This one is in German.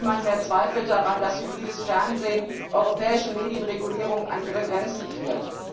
Niemand zweifelt mehr daran, dass hybrides Fernsehen europäische Medienregulierung an ihre Grenzen führt.